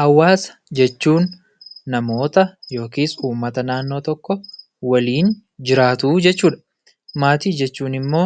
Hawaasa jechuun namoota (ummata) naannoo tokko waliin jiraatuu jechuu dha. Maatii jechuun immoo